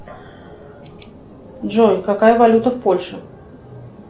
джой какая валюта в польше